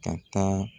Ka taa